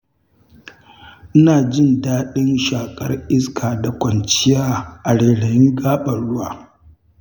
Ina jin daɗin shaƙar iska da kwanciya a rairayin gaɓar ruwa.